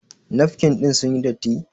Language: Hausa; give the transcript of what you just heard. Nafkin ɗin sun yi datti?